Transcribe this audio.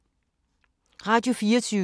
Radio24syv